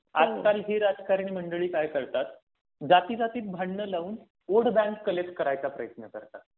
आजकाल, ही राजकारण मंडळी काय करतात जातीजातीत भांडण लावून वोट बॅंक कनेक्ट करायचा प्रयत्न करतात.